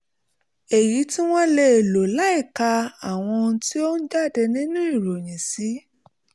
èyí tí wọ́n lè lò láìka àwọn ohun tó ń jáde nínú ìròyìn sí